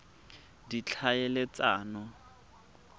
ditlhaeletsano